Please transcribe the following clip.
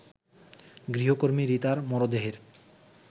গৃহকর্মী রিতার মরদেহের